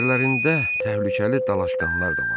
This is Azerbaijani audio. İçərilərində təhlükəli dalaşqanlar da vardı.